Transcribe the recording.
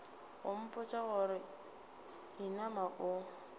go mpotša gore inama o